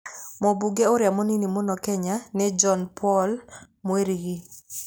Mũmbunge ũrĩa mũnini mũno Kenya nĩ John Paul Mwirigi.